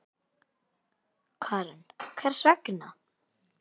Karen: Hvers vegna?